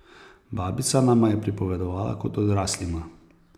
Babica nama je pripovedovala kot odraslima!